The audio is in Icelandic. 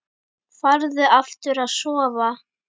Farðu aftur að sofa.